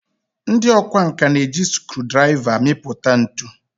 ndị ọkwá nkà na-eji scruudraiva amipụta ntu